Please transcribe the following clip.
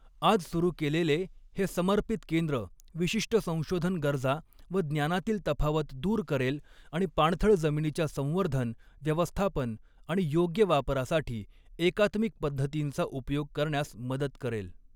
आज सुरू केलेले हे समर्पित केंद्र विशिष्ट संशोधन गरजा व ज्ञानातील तफावत दूर करेल आणि पाणथळ जमिनीच्या संवर्धन, व्यवस्थापन आणि योग्य वापरासाठी एकात्मिक पध्दतींचा उपयोग करण्यास मदत करेल.